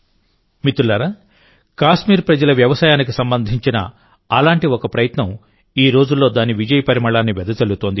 మిత్రులారాకాశ్మీర్ ప్రజల వ్యవసాయానికి సంబంధించిన అలాంటి ఒక ప్రయత్నం ఈ రోజుల్లో దాని విజయ పరిమళాన్ని వెదజల్లుతోంది